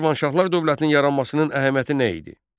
Şirvanşahlar dövlətinin yaranmasının əhəmiyyəti nə idi?